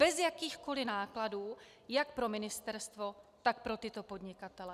Bez jakýchkoli nákladů jak pro ministerstvo, tak pro tyto podnikatele.